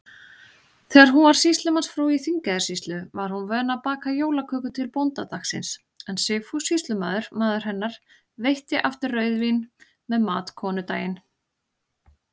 Þegar hún var sýslumannsfrú í Þingeyjarsýslu, var hún vön að baka jólaköku til bóndadagsins, en Sigfús sýslumaður, maður hennar, veitti aftur rauðvín með mat konudaginn.